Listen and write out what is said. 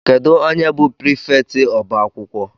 Kedụ onye bụ prịfèkt ọbá akwụkwọ?